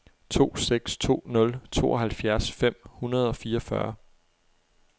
to seks to nul tooghalvfjerds fem hundrede og fireogfyrre